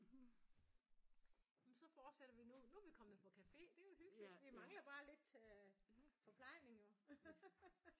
Ja men så fortsætter vi nu nu er vi kommet på café det er jo hyggeligt vi mangler bare lidt forplejning jo